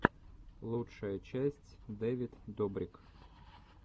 лучшая часть дэвид добрик